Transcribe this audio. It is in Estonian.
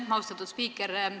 Aitäh, austatud spiiker!